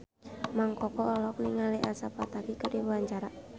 Mang Koko olohok ningali Elsa Pataky keur diwawancara